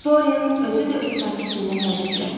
Dorian özü də öz sakitliyinə təəccübləndi.